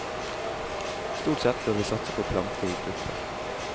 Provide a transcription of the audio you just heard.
Stort sett bør vi satse på å plante i grupper.